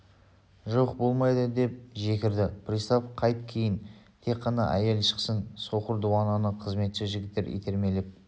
жоқ болмайды деп жекірді пристав қайт кейін тек қана әйел шықсын соқыр дуананы қызметші жігіттер итермелеп